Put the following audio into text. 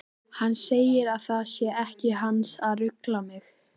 Hann segir að það sé ekki hans að rugla mig.